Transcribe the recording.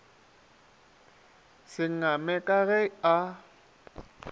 se ngame ka ge a